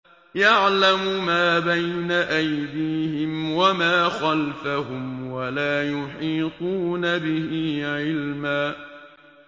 يَعْلَمُ مَا بَيْنَ أَيْدِيهِمْ وَمَا خَلْفَهُمْ وَلَا يُحِيطُونَ بِهِ عِلْمًا